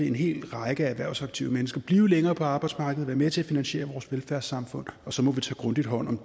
en hel række erhvervsaktive mennesker blive længere på arbejdsmarkedet og være med til at finansiere vores velfærdssamfund og så må vi tage grundigt hånd om